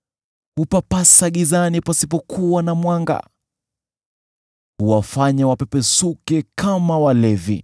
Hupapasa gizani pasipokuwa na mwanga; huwafanya wapepesuke kama walevi.